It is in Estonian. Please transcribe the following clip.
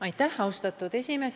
Aitäh, austatud esimees!